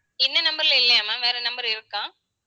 இந்த number ல இல்லையா ma'am வேற number இருக்கா